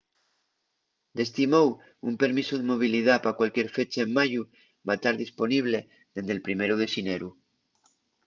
d’esti mou un permisu de movilidá pa cualquier fecha en mayu va tar disponible dende’l primeru de xineru